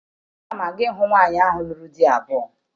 Ana m aga ịhụ nwaanyị ahụ lụrụ di abụọ